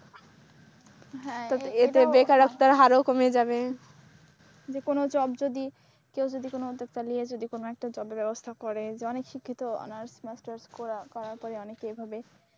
হ্যাঁ, এতে বেকারত্বের হারও কমে যাবে যে কোন জব যদি কেউ যদি কোন উদ্যোক্তা নিয়ে একটা জবের ব্যবস্থা করে যেমন শিক্ষিত honours masters করার পরে অনেকে এভাবে,